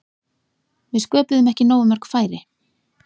Við sköpuðum ekki nógu mörg færi.